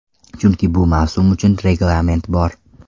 Chunki bu mavsum uchun reglament bor.